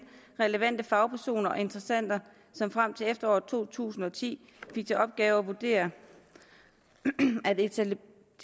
relevante fagpersoner og interessenter som frem til efteråret to tusind og ti fik til opgave at vurdere en